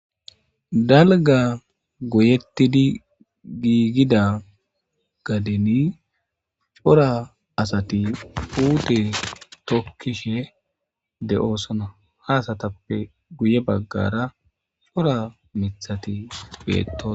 Dalga goyettidi giigida gadeni cora asati uute tokkishe de7oosona haasatappe guye baggara cora mithati beettosona.